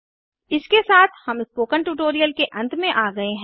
इसके साथ हम स्पोकन ट्यूटोरियल के अंत में आ गए हैं